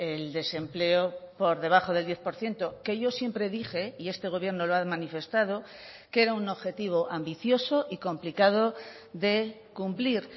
el desempleo por debajo del diez por ciento que yo siempre dije y este gobierno lo ha manifestado que era un objetivo ambicioso y complicado de cumplir